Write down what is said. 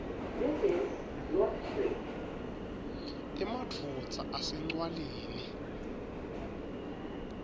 emadvodza ase ncwaleni